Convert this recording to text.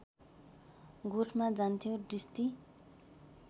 गोठमा जान्थ्यो दृष्टि